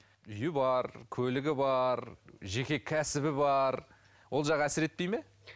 үйі бар көлігі бар жеке кәсібі бар ол жағы әсер етпейді ме